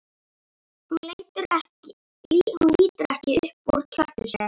Hún lítur ekki upp úr kjöltu sér.